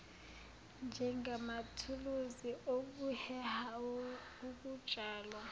njengamathuluzi okuheha ukutshalwa